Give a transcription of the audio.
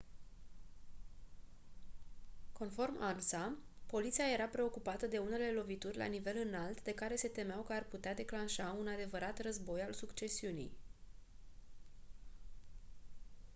conform ansa «poliția era preocupată de unele lovituri la nivel înalt de care se temeau că ar putea declanșa un adevărat război al succesiunii».